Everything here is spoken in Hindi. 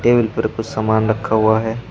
टेबल पर कुछ सामान रखा हुआ है।